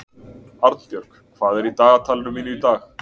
Arnbjörg, hvað er í dagatalinu mínu í dag?